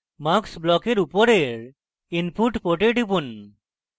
mux ব্লকের উপরের input port টিপুন